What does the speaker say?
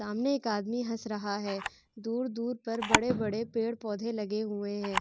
सामने एक आदमी हस रहा है। दूर-दूर पर बड़े-बड़े पेड़-पौधे लगे हुए हैं।